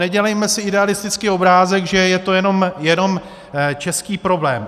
Nedělejme si idealistický obrázek, že je to jenom český problém.